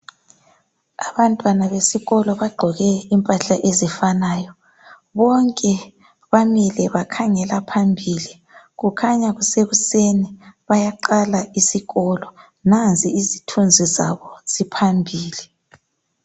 Abantwana besikolo bagqoke imphahla ezifanayo. Bonke bamile bakhangela phambili. Kukhanya kusekuseni bayaqala isikolo. Nansi izithunzi zabo ziphambili.